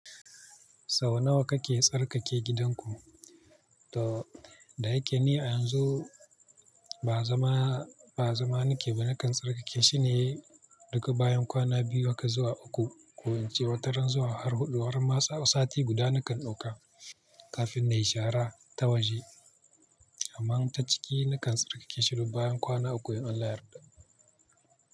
Sau nawa kake tsarkake gidanku? To, da yake ni a yanzu ba zama, ba zama nike ba, nakan tsarkake shine duk bayan kwana biyu haka zuwa uku. Ko ince wataran zuwa har huɗu, harma tsawon sati guda nakan ɗauka kafin na yi shara ta waje. Amma ta ciki nakan tsarkake shi ne bayan kwana uku in Allah yarda.